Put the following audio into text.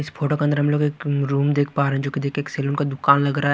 इस फोटो के अंदर हम लोग एक रूम देख पा रहे जोकि देख एक शैलून का दुकान लग रहा--